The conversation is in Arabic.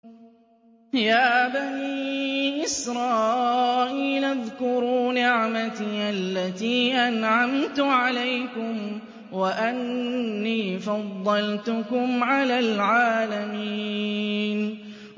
يَا بَنِي إِسْرَائِيلَ اذْكُرُوا نِعْمَتِيَ الَّتِي أَنْعَمْتُ عَلَيْكُمْ وَأَنِّي فَضَّلْتُكُمْ عَلَى الْعَالَمِينَ